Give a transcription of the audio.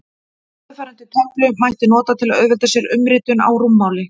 Eftirfarandi töflu mætti nota til að auðvelda sér umritun á rúmmáli.